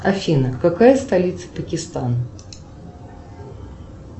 афина какая столица пакистана